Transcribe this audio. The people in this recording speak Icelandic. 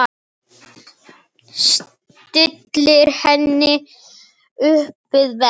Stillir henni upp við vegg.